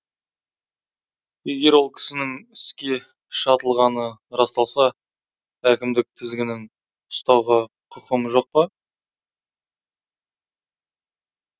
егер ол кісінің іске шатылғаны расталса әкімдік тізгінін ұстауға құқым жоқ па